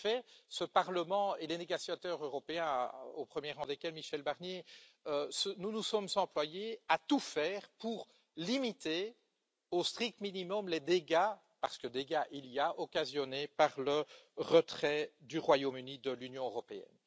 En effet, ce Parlement et les négociateurs européens au premier rang desquels Michel Barnier, nous nous sommes employés à tout faire pour limiter au strict minimum les dégâts parce que dégâts il y a occasionnés par le retrait du Royaume Uni de l'Union européenne.